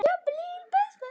Mamma varð náhvít í framan.